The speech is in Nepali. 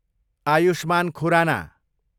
आयुष्मान खुराना